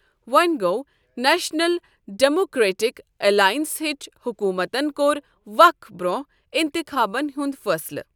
وۅں گوٚو national democratic alliance ہٕچ حکومتن کوٚر وق برۅنٛہہ اِنتخابن ہُنٛد فٲصلہٕ۔